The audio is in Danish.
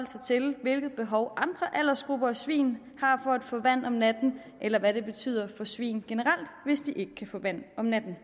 sig til hvilke behov andre aldersgrupper af svin har for at få vand om natten eller hvad det betyder for svin generelt hvis de ikke kan få vand om natten